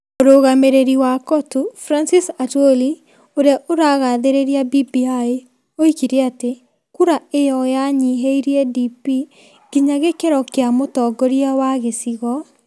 Mũrũgamĩrĩri wa Cotu Francis Atwoli, ũrĩa ũrũgathĩrĩria BBI, oigire atĩ kura ĩyo yanyihirie DP ginya gĩkĩro kĩa mũtongoria wa gĩcigo,